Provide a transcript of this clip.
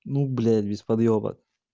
ну блять без подъеба